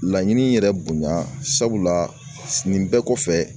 Laɲini yɛrɛ bonya sabula nin bɛɛ kɔfɛ